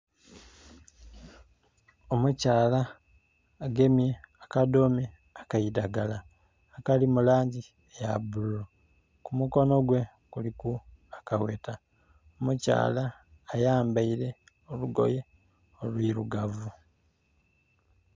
Omukyala agemye akadhome ak'eidhagala akali mu langi ya bululu, ku mukono gwe kuliku akagheta, omukyala ayambaile olugoye olwirugavu.